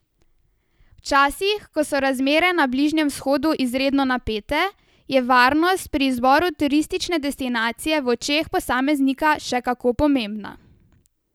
V časih, ko so razmere na Bližnjem vzhodu izredno napete, je varnost pri izboru turistične destinacije v očeh posameznika še kako pomembna.